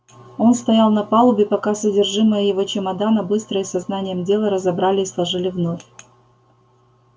он стоял на палубе пока содержимое его чемодана быстро и со знанием дела разобрали и сложили вновь